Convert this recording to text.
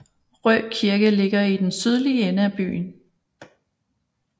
Rø Kirke ligger i den sydlige ende af byen